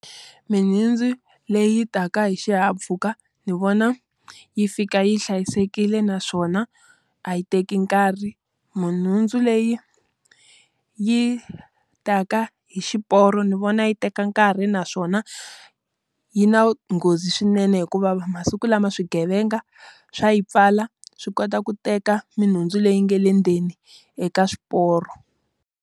Mihundzu leyi taka hi xihahampfhuka ni vona yi fika yi hlayisekile naswona a yi teki nkarhi. Minhundzu leyi yi ta ka hi xiporo ni vona yi teka nkarhi naswona yi na nghozi swinene hikuva va masiku lama swigevenga, swa yi pfala swi kota ku teka minhundzu leyi nga le ndzeni eka swiporo.